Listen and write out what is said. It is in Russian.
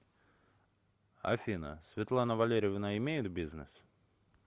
афина светлана валерьевна имеет бизнес